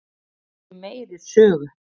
Við viljum meiri sögu.